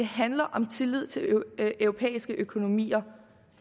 handler om tillid til europæiske økonomier